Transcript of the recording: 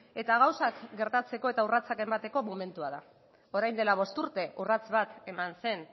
eta gauzak gertatzeko eta urratsak emateko momentua da orain dela bost urte urrats bat eman zen